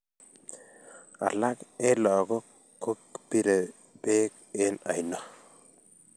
alak eng' lagok ko birei beek eng aino